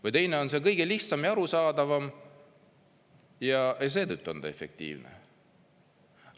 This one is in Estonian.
Või teine on see kõige lihtsam ja arusaadavam ja seetõttu on ta efektiivne?